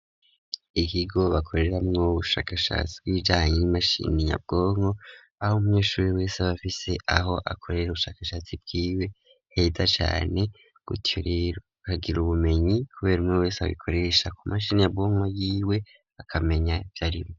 Ikigo bakorera mwo 'ubushakashatsi, bwijanye y'imashini nyabwonko, aho munyeshuri wese abafise aho akorera ubushakashatsi bw'iwe, neza cane gutyo rero bakagira ubumenyi, kubera umwe wese abikoresha ku mashini nyabwonko y'iwe akamenya vyarimwo